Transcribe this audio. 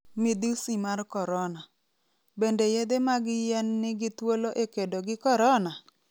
Midhusi mar Korona: Bende yedhe mag yien nigi thuolo e kedo gi korona?